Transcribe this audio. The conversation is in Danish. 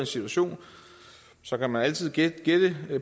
situation så kan man altid gætte gætte